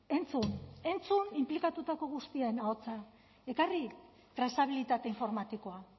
entzun entzun inplikatutako guztien ahotsa ekarri trazabilitate informatikoa